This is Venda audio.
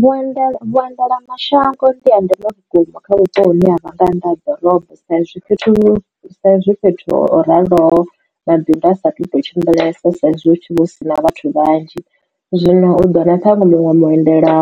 Vhuenda vhuendela mashango ndiha ndeme vhukuma kha vhupo hune ha vha nga nnḓa ha ḓorobo sa izwi fhethu fhethu ho raloho mabindu a satu to tshimbilesa saizwi hutshi vha hu si na vhathu vhanzhi zwino u ḓo wana ṱwanwe vhuendela